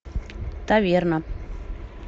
таверна